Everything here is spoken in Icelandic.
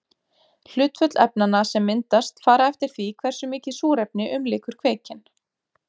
Hlutföll efnanna sem myndast fara eftir því hversu mikið súrefni umlykur kveikinn.